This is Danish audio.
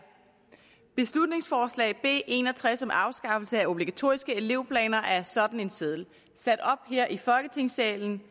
beslutningsforslag nummer b en og tres om afskaffelse af obligatoriske elevplaner er sådan en seddel sat op her i folketingssalen